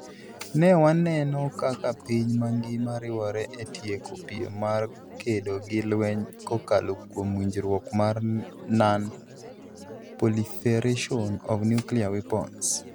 Ne waneno kaka piny mangima riwore e tieko piem mar kedo gi lweny kokalo kuom winjruok mar non-proliferation of nuclear weapons.